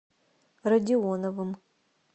родионовым